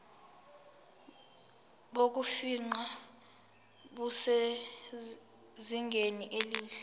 bokufingqa busezingeni elihle